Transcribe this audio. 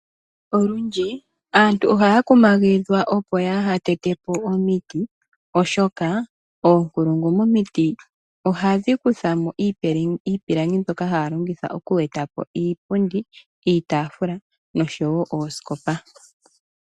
Olundji aantu ohaya kumagidhwa opo yaa ha tete po omiti .Oshoka oonkulungu momiti ohadhi kitha mo iipilangi mbyoka haya longitha oku eta po iipundi, iitaafula osho woo oosikopa.